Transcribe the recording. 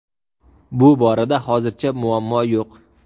Bu borada hozircha muammo yo‘q.